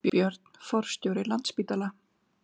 Björn forstjóri Landspítala